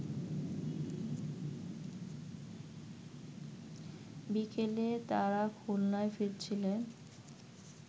বিকেলে তারা খুলনা ফিরছিলেন